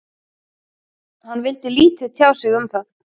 Hann vildi lítið tjá sig um það.